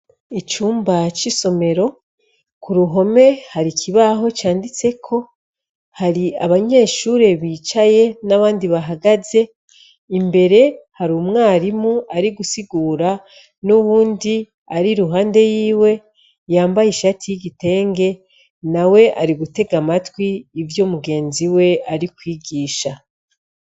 icumba c' isomero kuruhome harikibaho canditseko hari abanyeshure bicaye n' abandi bahagaze imbere hari umwarimu arigusigura n'uwundi ar'iruhande yiwe yambaye ishati y' igitenge nawe arigutega amatwi ivyo mugenziwe arikwigisha.